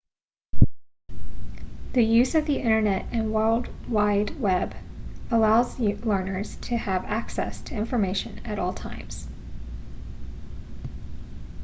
the use of the internet and the world wide web allows learners to have access to information at all times